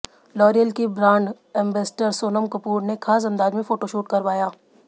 L'Oréal की brand ambassador Sonam Kapoor ने खास अंदाज में फोटोशूट करवाया